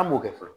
An m'o kɛ fɔlɔ